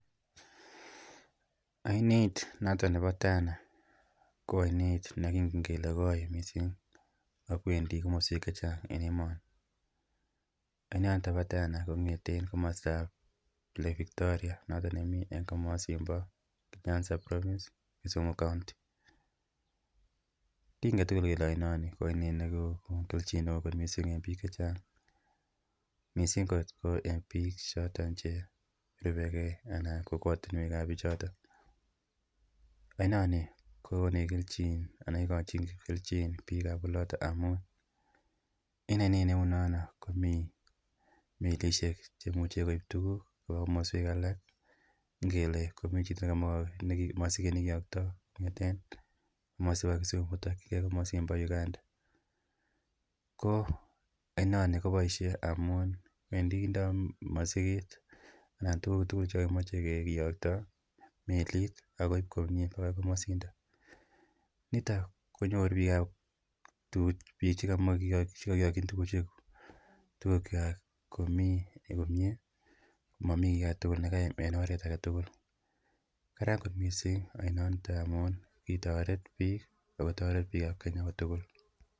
Oinet noton. Nebo Tana ko oinet nekingen kele koi missing ak kwendii komoswek chechang en emoni. Olindoniton bo Tana kongeten komostab lake Victoria noton nemii en komosin bo nyanza provence Kisumu kounti. Kingete tukuk kele oinoni ko oinet nekonu keljin neo kot missing en bik chechang missing ko en bik choton cherubegee ana kokwotunwekab bichoton. Oinoni kokonech keljin anan ikochin keljin en bikab oloton amun en oinet neu nono komii melishek cheimuche koib tukuk koba komoswek alak ngele ngomii chito nemie sikiyokto kongeten komosin bo Kisumu kirikigee komosin bo Uganda ko oinoni koboishe amun wendii kindo mosiket ana tukuk tukul chekokimoi kiyokto melit akoib komie bakai komosindon niton konyori bikab tukuk bik chekomoi chekokiyokin tukuk kwak komii komie momii kit nekaim en oret agetutuk. Karan kot missing oinoniton amun kiyoret bik ak kotoret kenya kotukul.